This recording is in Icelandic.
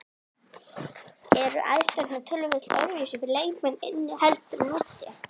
Eru aðstæðurnar töluvert öðruvísi fyrir leikmenn inni heldur en úti?